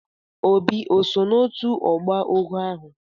Obinna oso na otu ogboa ogoo ahu?